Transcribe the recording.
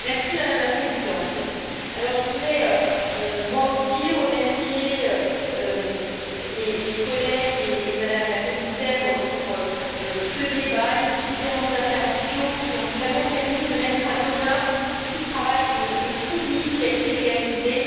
Madame la Présidente, je voudrais moi aussi remercier les collègues et Mme la commissaire pour ce débat et ces différentes interventions, qui ont vraiment permis de mettre à l'honneur tout le travail de fourmi qui a été réalisé